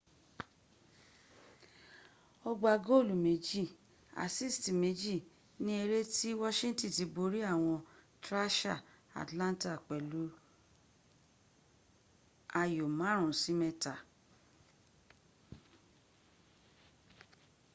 ó gbá góòlù 2 asisti 2 ni eré tí wọ́ṣíntíni ti borí àwọn trasha atlanta pẹ̀lú 5-3